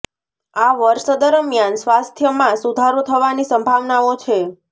આ વર્ષ દરમિયાન સ્વાસ્થ્ય મા સુધારો થવા ની સંભાવનાઓ છે